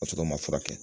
Ka sɔrɔ u ma furakɛ